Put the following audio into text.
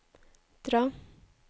dra